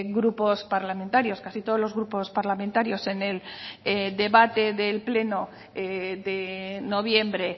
grupos parlamentarios casi todos los grupos parlamentarios en el debate del pleno de noviembre